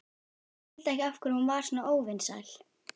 Hún skildi ekki af hverju hún var svona óvinsæl.